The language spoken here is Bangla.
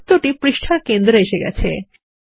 বৃত্তটি পৃষ্ঠার কেন্দ্রে এসে গেছে